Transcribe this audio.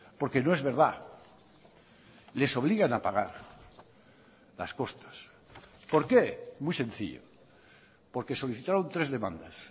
porque no es verdad les obligan a pagar las costas por qué muy sencillo porque solicitaron tres demandas